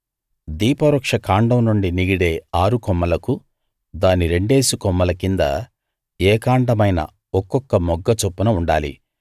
దీపవృక్ష కాండం నుండి నిగిడే ఆరుకొమ్మలకు దాని రెండేసి కొమ్మల కింద ఏకాండమైన ఒక్కొక్క మొగ్గ చొప్పున ఉండాలి